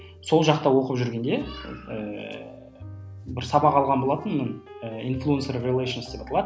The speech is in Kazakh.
сол жақта оқып жүргенде ыыы бір сабақ алған болатынмын ыыы деп аталады